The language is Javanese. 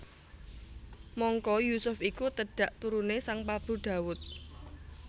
Mangka Yusuf iku tedhak turuné Sang Prabu Dawud